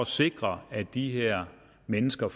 sikre at de her mennesker